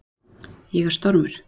Ég er stormur.